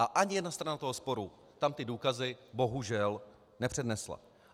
A ani jedna strana toho sporu tam ty důkazy bohužel nepřednesla.